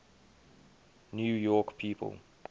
new york people